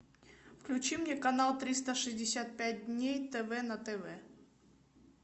включи мне канал триста шестьдесят пять дней тв на тв